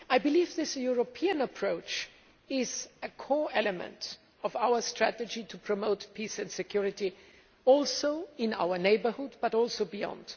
I believe this European approach is a core element of our strategy to promote peace and security in our neighbourhood, but also beyond.